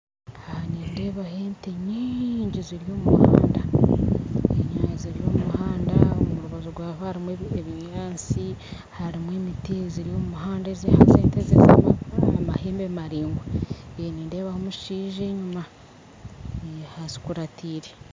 Nindeeba ente nyingi ziri omu muhanda ziri omu muhanda omu rubaju rwagwo harimu ebinyaatsi harimu emiti ziri omu muhanda haza eze ente ze n'ez'amahembe maraingwa nindeebaho omushaija enyuma azikuratiire